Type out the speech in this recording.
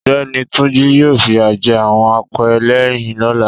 Ọ̀gbẹ́ni Túnjí yóò fìyà jẹ àwọn apẹ́lẹ́yìn lọ́la